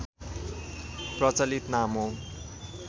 प्रचलित नाम हो